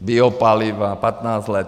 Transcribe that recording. Biopaliva - patnáct let.